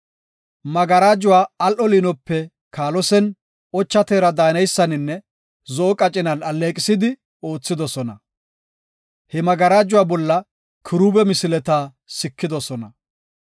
Magarajuwa al7o liinope kaalosen, ocha teera daaneysaninne, zo7o qacinan alleeqisidi oothidosona. He magarajuwa bolla kiruube misileta sikidosona.